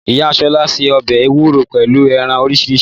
Ìyá shola sẹ ọ̀bẹ ewúro pẹ̀lú ẹran oríṣiríṣi